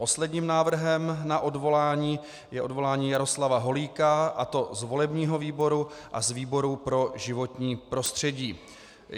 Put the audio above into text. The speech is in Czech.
Posledním návrhem na odvolání je odvolání Jaroslava Holíka, a to z volebního výboru a z výboru pro životní prostředí.